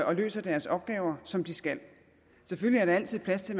og løser deres opgaver som de skal selvfølgelig er der altid plads til